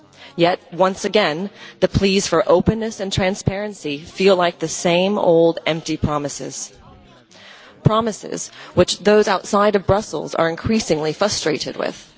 Yet, once again, the pleas for openness and transparency feel like the same old empty promises promises which those outside of Brussels are increasingly frustrated with.